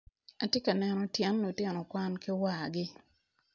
Atye ka neno tyen lutino kwan ki wargi.